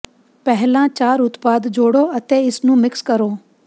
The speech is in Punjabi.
ਪਹਿਲਾਂ ਚਾਰ ਉਤਪਾਦ ਜੋੜੋ ਅਤੇ ਇਸ ਨੂੰ ਮਿਕਸ ਕਰੋ